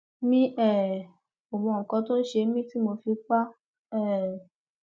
mi um ò mọ nǹkan tó ṣe mí tí mo fi pa á um